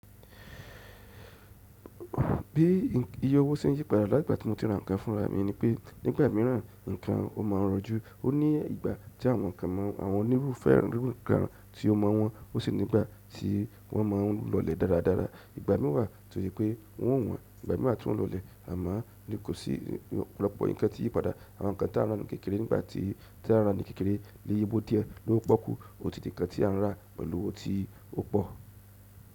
Bí iye owó se ń yípadà látigbà tí mo ti n rà ńkan fúnra mi ni pé nígbà míràn ńkan o máa n rọjú. O ní ìgbà tí àwọn ńkan àwọn onírúfẹ́ oniru ńkan tí o maa n wọ́n ó sì nígbà tí wọ́n máa ń lọlẹ̀ dáradára. Ìgbà mií wà to se pé wọn o wọ́n. Ìgbà mí wà tí wọn o lọlẹ̀ amo ní kò sí opolọ́pọ̀ ńkan tí yípadà àwọn ń kan tí a ń rà ní kékeré nígbà tí tí a ń rà ní kékeré ni iye owo díẹ̀ low poọ́kú ò tì dí ń kan tí a n rà pẹ̀lú òwo tí ó pọ̀.